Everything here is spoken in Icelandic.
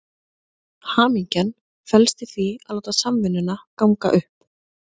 Hamingjan felst í því að láta samvinnuna ganga upp.